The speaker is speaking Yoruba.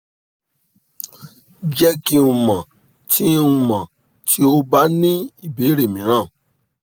jẹ ki n mọ ti n mọ ti o ba ni ibeere miiran